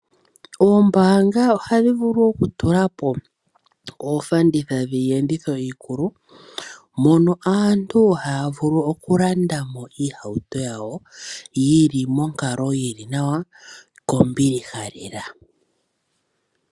Oombanga ohadhi vulu okutulapo oofanditha dhiyenditho iikulu, mono aantu haya vulu okulanda mo iihauto yawo yili monkalo yili nawa kombiliha lela.